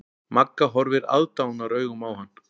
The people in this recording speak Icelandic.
Magga horfir aðdáunaraugum á hann.